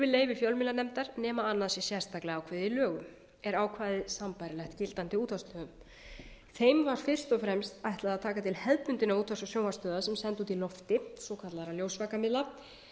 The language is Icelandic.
þurfi leyfi fjölmiðlanefndar nema annað sé sérstaklega ákveðið í lögum er ákvæðið sambærilegt gildandi útvarpslögum þeim var fyrst og fremst ætlað að taka til hefðbundinna útvarps og sjónvarpsstöðva sem senda út í loftið svokallaðra ljósvakamiðla